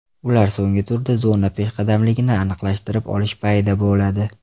Ular so‘nggi turda zona peshqadamligini aniqlashtirib olish payida bo‘ladi.